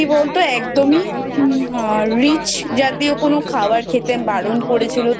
কি বলতো একদমই Rich জাতীয় কোনো খাবার খেতে বারন করেছিল।